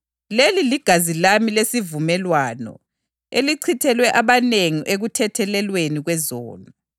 Wasethatha inkezo, esebongile, wabanika esithi, “Nathani kuyo, lonke.